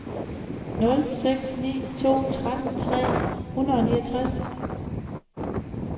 nul seks ni to tretten tre hundrede og niogtres